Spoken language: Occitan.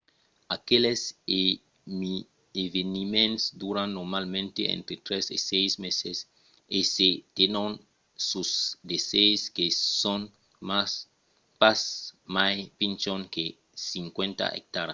aqueles eveniments duran normalament entre tres e sièis meses e se tenon sus de sits que son pas mai pichons que 50 ectaras